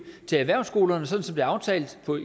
til erhvervsskolerne sådan er aftalt